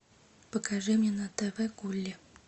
покажи мне на тв гулли